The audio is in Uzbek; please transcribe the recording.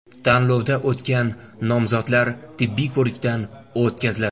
Tanlovdan o‘tgan nomzodlar tibbiy ko‘rikdan o‘tkaziladi.